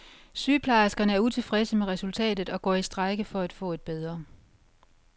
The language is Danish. Sygeplejerskerne er utilfredse med resultatet og går i strejke for at få et bedre.